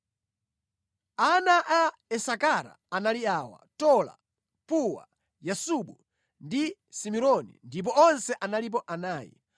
Ana a Isakara anali awa: Tola, Puwa, Yasubu ndi Simironi ndipo onse analipo anayi.